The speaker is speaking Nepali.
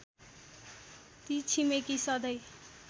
ती छिमेकी सँधै